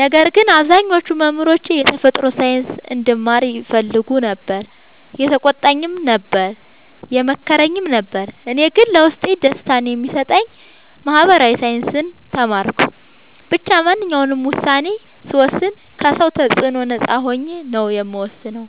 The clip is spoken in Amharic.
ነገር ግን አብዛኞቹ መምህሮቼ የተፈጥሮ ሳይንስ እንድማር ይፈልጉ ነበር የተቆጣኝም ነበር የመከረኝም ነበር እኔ ግን ለውስጤ ደስታን የሚሰጠኝን ማህበራዊ ሳይንስ ተማርኩ። ብቻ ማንኛውንም ውሳኔ ስወስን ከ ሰው ተፅዕኖ ነፃ ሆኜ ነው የምወስነው።